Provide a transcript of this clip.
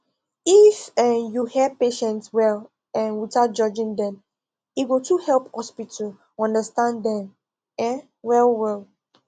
if um you hear patients well um without judging dem e go too help hospital understand them um well well